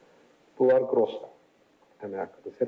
Bunlar qross əmək haqqıdır.